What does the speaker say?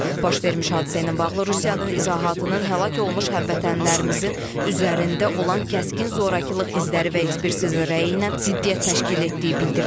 Baş vermiş hadisə ilə bağlı Rusiyanın izahatının həlak olmuş həmvətənlərimizin üzərində olan kəskin zorakılıq izləri və ekspertiza rəyi ilə ziddiyyət təşkil etdiyi bildirilib.